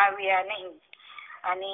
આવિયા નહિ અને